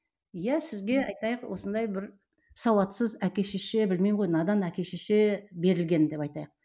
иә сізге айтайық осындай бір сауатсыз әке шеше білмеймін ғой надан әке шеше берілген деп айтайық